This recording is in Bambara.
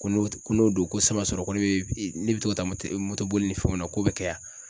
Ko n'o ko n'o don ko sisan b'a sɔrɔ ko ne bɛ ne bɛ to ka taa moto moto boli ni fɛnw na k'o bɛ kɛ wa